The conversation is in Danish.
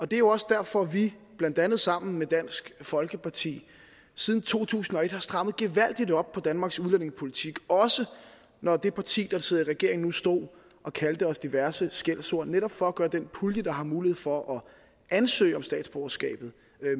det er jo også derfor at vi blandt andet sammen med dansk folkeparti siden to tusind og et har strammet gevaldigt op på danmarks udlændingepolitik også når det parti der sidder i regering nu stod og kaldte os diverse skældsord netop for at gøre den pulje der har mulighed for at ansøge om statsborgerskabet